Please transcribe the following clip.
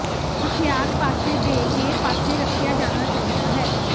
ਹਥਿਆਰ ਪਾਸੇ ਦੇ ਕੇ ਪਾਸੇ ਰੱਖਿਆ ਜਾਣਾ ਚਾਹੀਦਾ ਹੈ